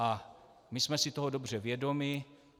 A my jsme si toho dobře vědomi.